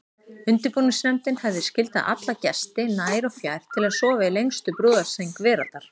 Undirbúningsnefndin hefði skyldað alla gesti nær og fjær til að sofa í lengstu brúðarsæng veraldar.